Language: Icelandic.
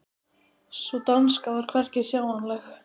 Sú danska var hvergi sjáanleg.